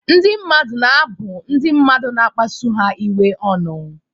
Ndị mmadụ na-abụ ndị mmadụ na-akpasu ha iwe ọnụ.